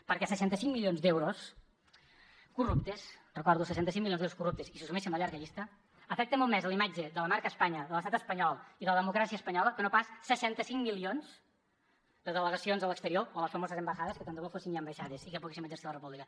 perquè seixanta cinc milions d’euros corruptes ho recordo seixanta cinc milions d’euros corruptes i si suméssim la llarga llista afecten molt més a la imatge de la marca espanya de l’estat espanyol i de la democràcia espanyola que no pas seixanta cinc milions de delegacions a l’exterior o les famoses embajadas que tant de bo fossin ja ambaixades i que poguéssim exercir la república